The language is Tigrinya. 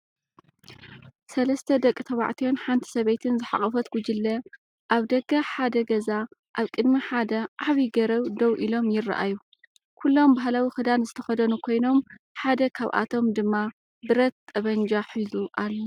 ሰለስተ ደቂ ተባዕትዮን ሓንቲ ሰበይትን ዝሓቖፈት ጉጅለ ኣብ ደገ ሓደ ገዛ ኣብ ቅድሚ ሓደ ዓቢ ገረብ ደው ኢሎም ይረኣዩ። ኩሎም ባህላዊ ክዳን ዝተኸድኑ ኮይኖም፡ ሓደ ካብኣቶም ድማ ብረት/ጠበንጃ ሒዙ ኣሎ።